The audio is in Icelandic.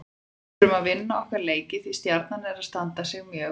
Við þurfum að vinna okkar leiki því Stjarnan er að standa sig mjög vel.